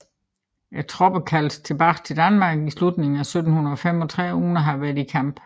Tropperne kaldtes tilbage til Danmark i slutningen af 1735 uden at have været i kamp